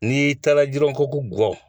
N'i y'i taara jirɔgɔku gɔ